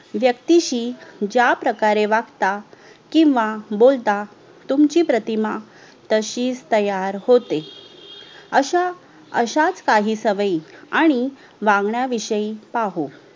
वेक्तीशी ज्याप्रकारे वागता किव्हा बोलता तुमची प्रतिमा तशीच तयार होते अश्या अश्याच काही सवयी आणि वागण्या विषयी पाहू